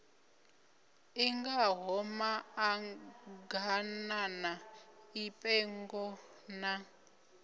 i ngaho maḓaganana mipengo na